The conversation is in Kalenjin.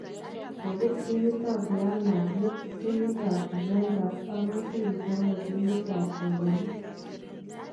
Kopir timitap Real Madrid timitap Juventus akoisir icheket ligitap kapelik